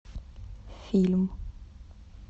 фильм